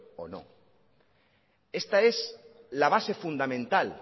o no esta es la base fundamental